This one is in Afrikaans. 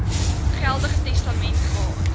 geldige testament gehad